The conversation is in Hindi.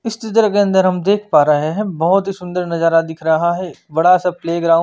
इस चित्र के अंदर हम देख पा रहे है बहोत ही सुंदर नजारा दिख रहा है बड़ा सा प्ले ग्राउंड --